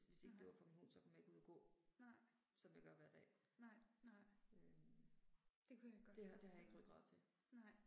Nej nej. Nej. nej, nej. Det kunne jeg godt forestille mig, nej